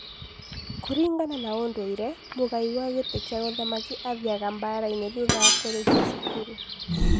Kũringana na ũndũire, mũgai wa gĩtĩ kĩa ũthamaki athiaga mbaara-inĩ thutha wa kũrĩkia cukuru.